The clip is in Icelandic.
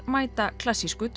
mæta klassísku